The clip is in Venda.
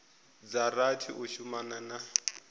dza rathi u shumana na